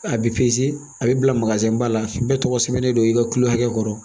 A bɛ a bɛ bila ba la bɛɛ tɔgɔ sɛbɛnnen don i ka kilo hakɛ kɔrɔ